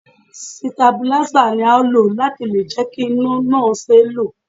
Sitabuláísà ni a ó lò láti lè jẹ́ kí iná náà ṣeé lò